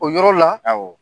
O yɔrɔ la, awɔ